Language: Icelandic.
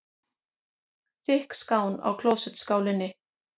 Þykk skán í klósettskálinni.